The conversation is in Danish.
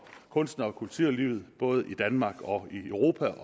kunstnere og kulturlivet både i danmark og i europa